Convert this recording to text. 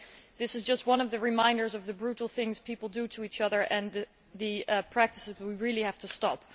This is just one reminder of the brutal things people do to each other and the practices we really have to stop.